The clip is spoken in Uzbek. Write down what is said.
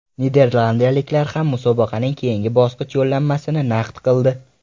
Niderlandiyaliklar ham musobaqaning keyingi bosqich yo‘llanmasini naqd qildi.